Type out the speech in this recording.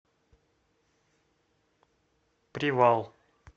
привал